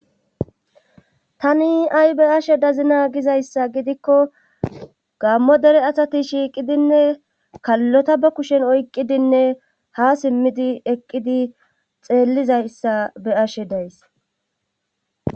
tani ay be7ashe dazina gizayssa gidikko gaammo dere asati shiiqidinne kallota ba kushen oyqqidinne haa simmidi eqqidi xeellizayssa be7ashe days.